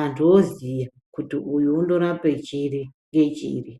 antu oziya kuti uyu unorapa chiri ne chiri.